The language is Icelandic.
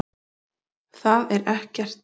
Það er ekkert.